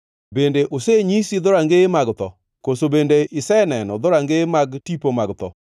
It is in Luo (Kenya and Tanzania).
Bende osenyisi dhorangaye mag tho? Koso bende iseneno dhorangeye mag tipo mag tho?